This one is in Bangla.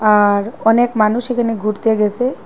আর অনেক মানুষ এখানে ঘুরতে গেসে।